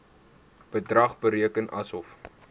bedrag bereken asof